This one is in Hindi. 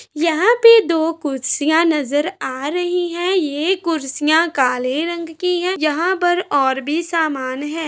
यहाँ पे दो कुसिया नज़र आ रही हैं। ये कुर्सियाँ काले रंग की हैं। यहाँ पर और भी सामान हैं।